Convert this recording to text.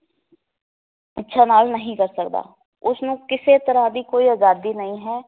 ਇੱਛਾ ਨਾਲ ਨਹੀ ਕਰ ਸਕਦਾ ਉਸਨੂੰ ਕਿਸੇ ਤਰਾਂ ਦੀ ਕੋਈ ਅਜਾਦੀ ਨਹੀਂ ਹੈ